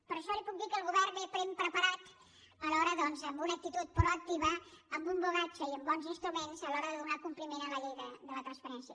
per això li puc dir que el govern ve ben preparat doncs amb una actitud proactiva amb un bagatge i amb bons instruments a l’hora de donar compliment a la llei de la transparència